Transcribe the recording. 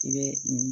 I bɛ